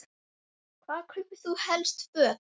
Hvar kaupir þú helst föt?